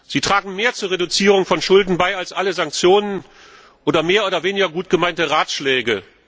Sie tragen mehr zur Reduzierung von Schulden bei als alle Sanktionen oder mehr oder weniger gut gemeinte Ratschläge.